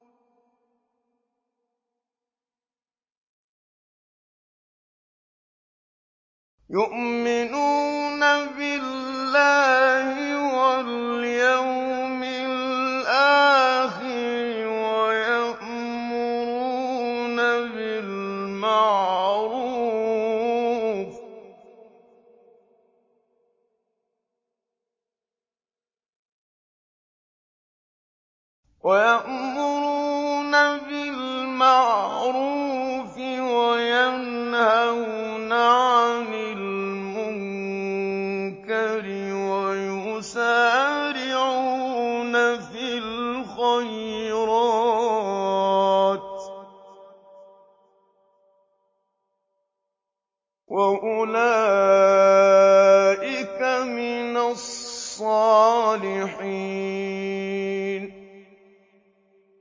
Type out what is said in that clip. يُؤْمِنُونَ بِاللَّهِ وَالْيَوْمِ الْآخِرِ وَيَأْمُرُونَ بِالْمَعْرُوفِ وَيَنْهَوْنَ عَنِ الْمُنكَرِ وَيُسَارِعُونَ فِي الْخَيْرَاتِ وَأُولَٰئِكَ مِنَ الصَّالِحِينَ